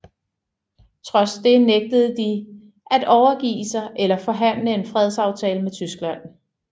Trods det nægtede de at overgive sig eller forhandle en fredsaftale med Tyskland